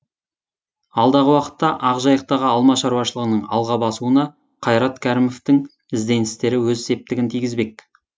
алдағы уақытта ақжайықтағы алма шаруашылығының алға басуына қайрат кәрімовтің ізденістері өз септігін тигізбек